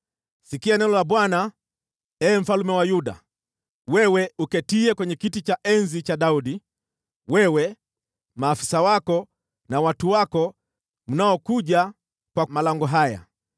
‘Sikia neno la Bwana , ee mfalme wa Yuda, wewe uketiye kwenye kiti cha enzi cha Daudi: wewe, maafisa wako na watu wako mnaopitia malango haya.